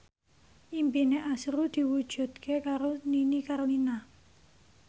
impine azrul diwujudke karo Nini Carlina